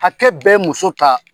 Hakɛ bɛɛ muso kan.